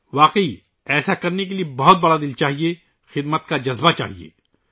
درحقیقت، ایسا کرنے کے لئے بہت بڑا دِل چاہیئے ، خدمت کا جذبہ چاہیئے